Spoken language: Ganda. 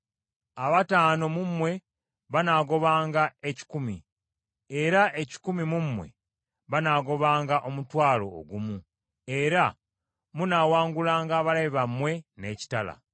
Abataano mu mmwe banaagobanga ekikumi, era ekikumi mu mmwe banaagobanga omutwalo ogumu, era munaawangulanga abalabe bammwe n’ekitala.